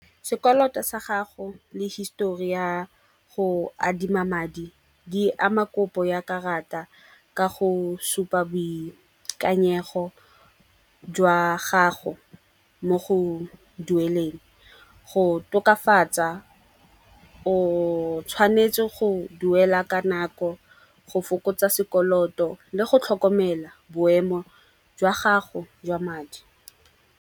Sekoloto sa gago le histori ya go adima madi di ama kopo ya karata ka go supa boikanyego jwa gago mo go dueleng. Go tokafatsa o tshwanetse go duela ka nako go fokotsa sekoloto le go tlhokomela boemo jwa gago jwa madi.